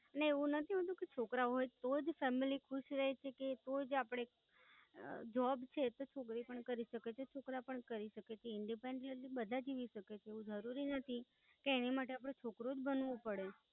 ને એવું નથી હોતું કે છોકરાઓ હોઈ તો જ Family ખુશ રહી શકે? તોજ આપડે જોબ છે એ છોકરી પણ કશકે છે છોકરા પણ કરી શકે છે Independent એટલે બધા જ કરી શકે છે એવું જરૂરી નથી કે એની માટે અપને છોકારો જ બનવું પડે.